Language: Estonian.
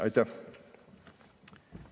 Aitäh!